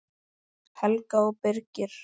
Helga og Birgir.